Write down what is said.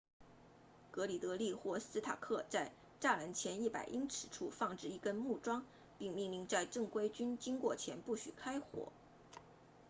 格里德利 gridley 或斯塔克 stark 在栅栏前100英尺30米处放置一根木桩并命令在正规军经过前不许开火